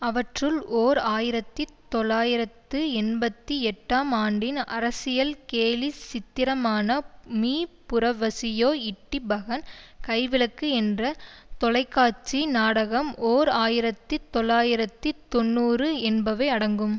அவற்றுள் ஓர் ஆயிரத்தி தொள்ளாயிரத்து எண்பத்தி எட்டாம் ஆண்டின் அரசியல் கேலி சித்திரமான மீ புரவசியோ இட்டி பஹன் கைவிளக்கு என்ற தொலைக்காட்சி நாடகம்ஓர் ஆயிரத்தி தொள்ளாயிரத்தி தொன்னூறு என்பவை அடங்கும்